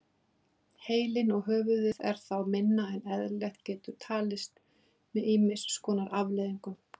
Heilinn og höfuðið er þá minna en eðlilegt getur talist með ýmis konar afleiðingum.